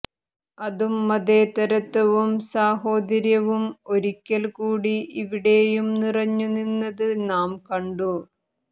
അതും മതേതരത്വവും സാഹോദര്യവും ഒരിക്കല് കൂടി ഇവിടെയും നിറഞ്ഞു നിന്നത് നാം കണ്ടു